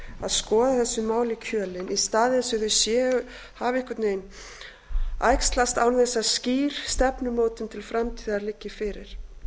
að skoða þessi mál í kjölinn í staðinn fyrir að þau hafi einhvern veginn æxlast án þess að skýr stefnumótun til framtíðar liggi fyrir